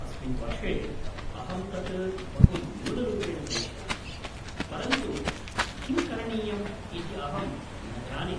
अस्मिन् वर्षे अहं तत् बहु न्यूनरूपेण करिष्यामि, परन्तु किं करणीयम् इति अहं न जाने।